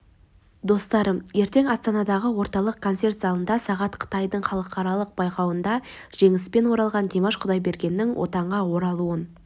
достарым ертең астанадағы орталық концерт залында сағат қытайдың халықаралық байқауында жеңіспен оралған димаш құдайбергеннің отанға оралуын